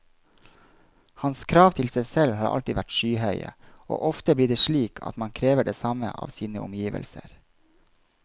Hans krav til seg selv har alltid vært skyhøye, og ofte blir det slik at man krever det samme av sine omgivelser.